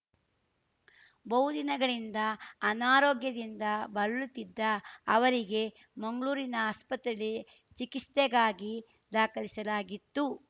ಬಹು ದಿನಗಳಿಂದ ಅನಾರೋಗ್ಯದಿಂದ ಬಳಲುತಿದ್ದ ಅವರಿಗೆ ಮಂಗ್ಳೂರಿನ ಆಸ್ಪತ್ರೆಯಲ್ಲಿ ಚಿಕಿಸ್ತೆಗಾಗಿ ದಾಖಲಿಸಲಾಗಿತ್ತು